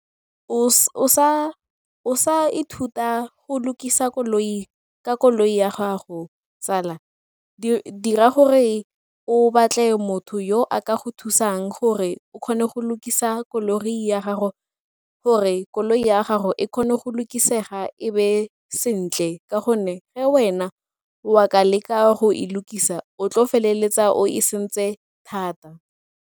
O sa ithuta go lukisa koloi ka koloi ya gago tsala, dira gore o batle motho yo a ka go thusang gore o kgone go lukisa koloi ya gago gore koloi ya gago e kgone go lukisetsa e be sentle ka gonne ge wena wa ka leka go lukisa o tlo feleletsa o e sentse thata.